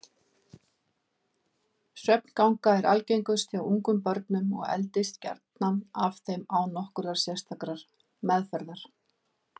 Svefnganga er algengust hjá ungum börnum og eldist gjarnan af þeim án nokkurrar sérstakrar meðferðar.